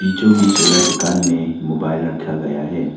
बिचों बीच वाला दुकान में मोबाइल रखा गया है।